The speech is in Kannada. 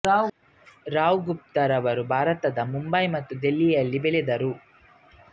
ರಾವ್ ಗುಪ್ತಾ ರವರು ಭಾರತದ ಮುಂಬೈ ಮತ್ತು ದೆಹಲಿಯಲ್ಲಿ ಬೆಳೆದರು